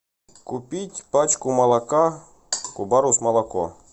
купить пачку молока кубарус молоко